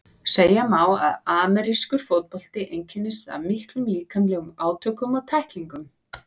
Segja má að amerískur fótbolti einkennist af miklum líkamlegum átökum og tæklingum.